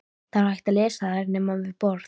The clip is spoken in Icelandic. Það var ekki hægt að lesa þær nema við borð.